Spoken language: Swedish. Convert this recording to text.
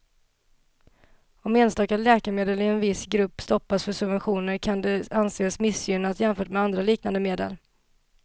Om enstaka läkemedel i en viss grupp stoppas för subventioner kan det anses missgynnat jämfört med andra liknande medel.